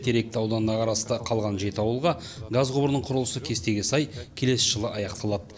теректі ауданына қарасты қалған жеті ауылға газ құбырының құрылысы кестеге сай келесі жылы аяқталады